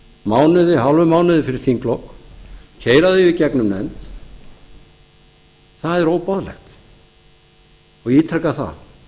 mánuði hálfum mánuði fyrir þinglok keyra það í gegnum nefnd það er óboðlegt ég ítreka það